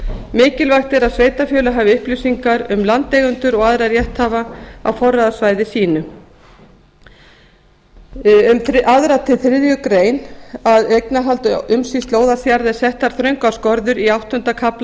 mikilvægt er að sveitarfélög hafi upplýsingar um landeigendur og aðra rétthafa á forráðasvæði sínu um annað til þriðju grein eignarhaldi og umsýslu óðalsjarða eru settar þröngar skorður í áttunda kafla